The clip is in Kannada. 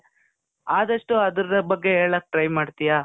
ಆದಷ್ಟು ಅದರ ಬಗ್ಗೆ ಹೇಳಕ್ try ಮಾಡ್ತೀಯ?